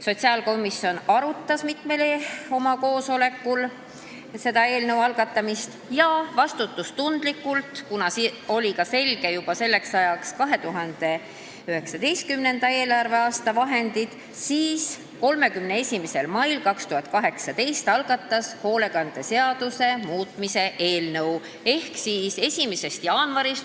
Sotsiaalkomisjon arutas seda mitmel oma koosolekul ja vastutustundlikult – kuna selleks ajaks oli juba selge, kui palju on 2019. eelarveaastal selleks vahendeid – otsustas 31. mail 2018 algatada sotsiaalhoolekande seaduse muutmise seaduse eelnõu.